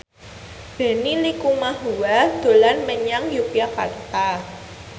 Benny Likumahua dolan menyang Yogyakarta